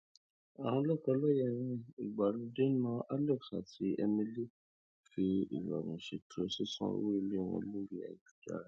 àwọn lọkọláya ìgbàlódé náà alex àti emily fi ìrọrùn ṣètò sísan owó ilé wọn lórí ayélujára